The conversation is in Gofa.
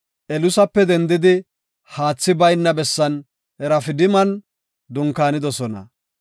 Elusape dendidi haathi bayna bessan Rafidiman dunkaanidosona.